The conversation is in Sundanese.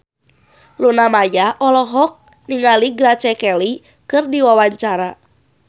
Luna Maya olohok ningali Grace Kelly keur diwawancara